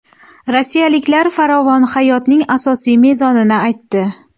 Rossiyaliklar farovon hayotning asosiy mezonini aytdi.